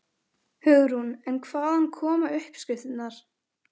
Hugrún: En hvaðan koma uppskriftirnar?